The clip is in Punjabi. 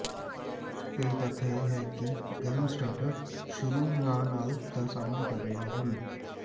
ਕਈ ਤੱਥ ਇਹ ਹੈ ਕਿ ਗਰਮ ਸਟਾਰਟਰ ਸ਼ੁਰੂ ਨਾ ਨਾਲ ਦਾ ਸਾਹਮਣਾ ਕਰ ਰਹੇ ਹਨ